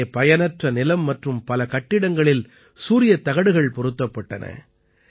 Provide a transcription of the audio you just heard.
இங்கே பயனற்ற நிலம் மற்றும் பல கட்டிடங்களில் சூரியத்தகடுகள் பொருத்தப்பட்டன